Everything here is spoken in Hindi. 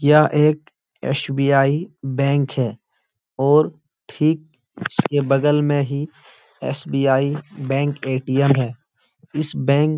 यह एक एस.बी.आई. बैंक है और ठीक उसके बगल में ही एस.बी.आई. Bank ATM. है। इस बैंक --